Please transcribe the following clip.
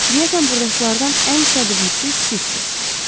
Deyəsən burdakılardan ən səbirlisi sizsiz.